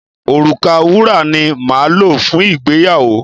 Òrùka wúrà ni máa lò fún ìgbéyàwó.